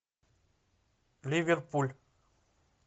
ливерпуль